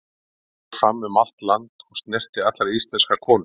Hún fór fram um allt land, og snerti allar íslenskar konur.